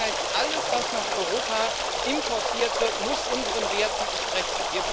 Das heißt, alles, was nach Europa importiert wird, muss unseren Werten entsprechen.